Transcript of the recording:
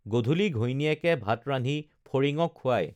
গধূলি ঘৈণীয়েকে ভাত ৰান্ধি ফৰিঙক খুৱাই